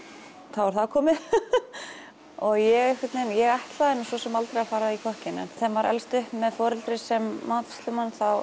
þá er það komið og ég einhvern veginn ég ætlaði svo sem aldrei að fara í kokkinn þegar maður elst upp með foreldri sem matreiðslumaður þá